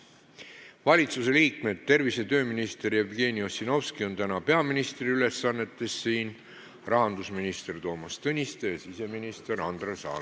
Valitsusliikmed: tervise- ja tööminister Jevgeni Ossinovski, kes on täna siin peaministri ülesannetes, rahandusminister Toomas Tõniste ja siseminister Andres Anvelt.